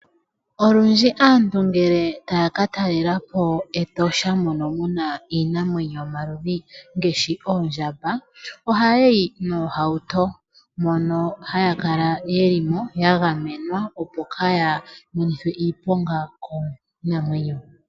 Olundji aantu ngele taya katalela po Etosha mono muna iinamwenyo yomaludhi, ngaashi oondjamba, ohaya yi noohauto mono haya kala ye li ya gamenwa, opo kaaya monithwe oshiponga kiinamwenyo.